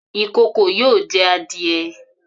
Ikòkò yóò jẹ́ àdìẹ̀